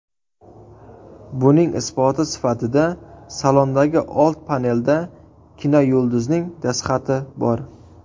Buning isboti sifatida salondagi old panelda kinoyulduzning dastxati bor.